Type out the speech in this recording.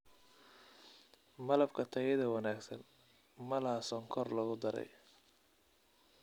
Malabka tayada wanaagsan ma laha sonkor lagu darey.